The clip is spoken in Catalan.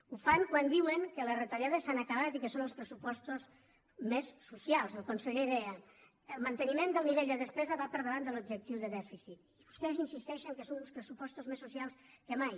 ho fan quan diuen que les retallades s’han acabat i que són els pressupostos més socials el conseller deia el manteniment del nivell de despesa va per davant de l’objectiu de dèficit i vostès insisteixen que són uns pressupostos més socials que mai